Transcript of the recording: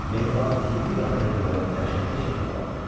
Mehriban üzü bir anda göyərib dəhşətli şəkil aldı.